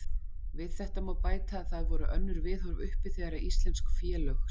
Við þetta má bæta að það voru önnur viðhorf uppi þegar íslensk félög sem